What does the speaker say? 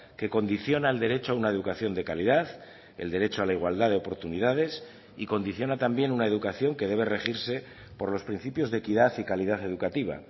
que condiciona el derecho a una educación de calidad el derecho a la igualdad de oportunidades y condiciona también una educación que debe regirse por los principios de equidad y calidad educativa